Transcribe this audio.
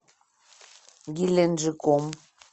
геленджиком